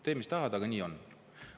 Tee, mis tahad, aga nii on.